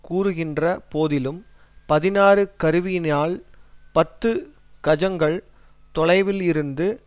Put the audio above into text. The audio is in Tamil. கூறுகின்ற போதிலும் பதினாறு கருவியினால் பத்து கஜங்கள் தொலைவில் இருந்து